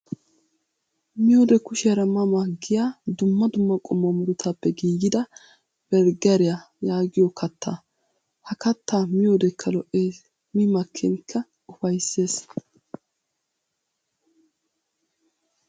miyoode kushiyaara ma ma giyaa dumma dumma qommo murutaappe giigida berggeriyaa yaagiyoo kattaa. Ha kattaa miyoodekka lo''es mi makkinkka upayisses.